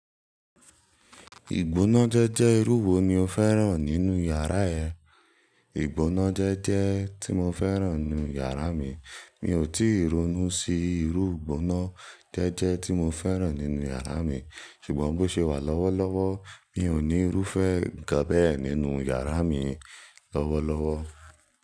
Ìgbónájẹ́jẹ́ irú wo ni o fẹ́ràn nínú yàrá ẹ? Ìgbónájẹ́jẹ́ tí mo fẹ́ràn nínú yàrá mi, mi ò tíì ronú sí irú ìgbónájẹ́jẹ́ tí mo fẹ́ràn nínú yàrá mi, ṣùgbọ́n bó ṣe wà lọ́wọ́lọ́wọ́ mi ò ní irúfẹ́ kan bẹ́ẹ̀ nínú yàrá mi lọ́wọ́lọ́wọ́.